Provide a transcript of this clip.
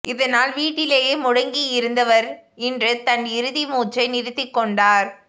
இதனால் வீட்டிலேயே முடங்கியிருந்தவர் இன்று தன் இறுதி மூச்சை நிறுத்திக் கொண்டார்